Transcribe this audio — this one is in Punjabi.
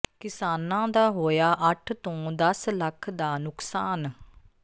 ਕਿਸਾਨਾਂ ਦਾ ਹੋਇਆ ਅੱਠ ਤੋਂ ਦਸ ਲੱਖ ਦਾ ਨੁਕਸਾਨ